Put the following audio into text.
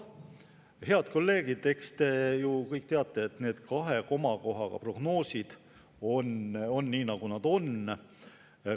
Head kolleegid, eks te ju kõik teate, et need kahe komakohaga prognoosid on sellised, nagu nad on.